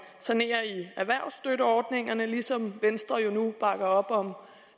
sanere i erhvervsstøtteordningerne ligesom venstre jo nu bakker op om